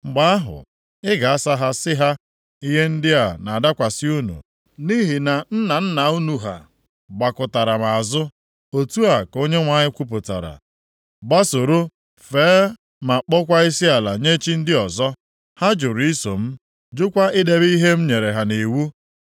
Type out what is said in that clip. Mgbe ahụ, ị ga-asa ha sị ha, ‘Ihe ndị a na-adakwasị unu nʼihi na nna nna unu ha gbakụtara m azụ,’ otu a ka Onyenwe anyị kwupụtara, ‘gbasoro, fee ma kpọọkwa isiala nye chi ndị ọzọ. Ha jụrụ iso m, jụkwa idebe ihe m nyere ha nʼiwu.